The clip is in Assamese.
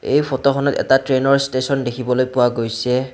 এই ফটোখনত এটা ট্ৰেইনৰ ষ্টেছন দেখিবলৈ পোৱা গৈছে।